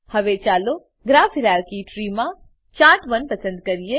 હવે ચાલો graph hierarchy tree માં ચાર્ટ1 પસંદ કરીએ